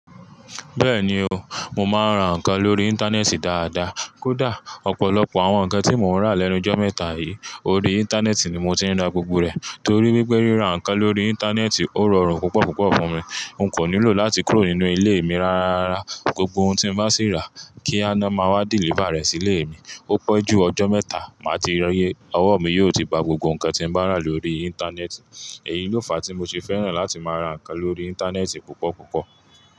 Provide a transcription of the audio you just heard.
Bẹ́ẹ̀ni o, mo máa ń ra ǹkan lórí Íńtánẹ́ẹ̀tì dáadáa. Kódà ọ̀pọ̀lọpọ̀ àwọn nǹkan tí mo ń rà lẹ́nu jọ́ mẹ́ta yìí, orí Íńtánẹ́ẹ̀tì ni mo ti ń ra gbogbo rẹ̀. Torí wípé ríra ǹkan lórí Íńtánẹ́ẹ̀tì ó rọrùn púpọ̀púpọ̀ fún mi. N kò nílò láti kúrò nínú ilé mi rárárara. Gbogbo ohun tí bá sì rá, kí a ná máa wá deliver rẹ̀ sí ilé mi. Ó pẹ́jú ọjọ́ mẹ́ta, màá ti rí i. Owó mi yóò ti ba gbogbo ǹkan tí nbá rà lórí Íńtánẹ́ẹ̀tì. Èyí ló fa tí mo ti fẹ́ràn láti máa ra nǹkan lórí Íńtánẹ́ẹ̀tì púpọ̀púpọ̀.